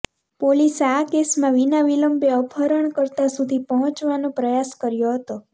પોલીસે આ કેસમાં વિના વિલંબે અપહરણકર્તા સુધી પહોંચવાનો પ્રયાસ કર્યો હતો